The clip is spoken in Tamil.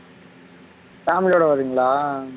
family ஓட வர்றீங்களா